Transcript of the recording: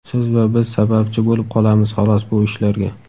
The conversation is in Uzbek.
Siz va biz sababchi bo‘lib qolamiz xalos bu ishlarga.